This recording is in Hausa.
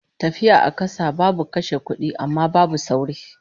Tafiya a kasa babu kashe kudi, amma babu sauri